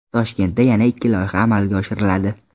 Toshkentda yana ikki loyiha amalga oshiriladi.